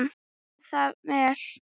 Er það vel.